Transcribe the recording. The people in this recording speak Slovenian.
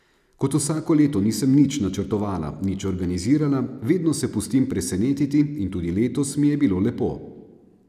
Kot vsako leto nisem nič načrtovala, nič organizirala, vedno se pustim presenetiti in tudi letos mi je bilo lepo.